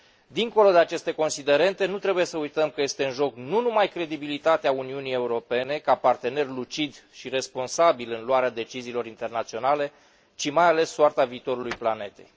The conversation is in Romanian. Dincolo de aceste considerente, nu trebuie să uităm că este în joc nu numai credibilitatea Uniunii Europene, ca partener lucid și responsabil în luarea deciziilor internaționale, ci, mai ales, soarta viitorului planetei.